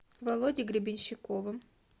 володей гребенщиковым